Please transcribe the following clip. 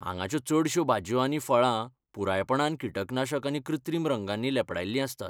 हांगाच्यो चडश्यो भाजयो आनी फळां पुरायपणान कीटकनाशक आनी कृत्रीम रंगांनी लेपडायल्लीं आसतात.